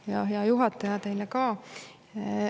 Ja, hea juhataja, teile ka.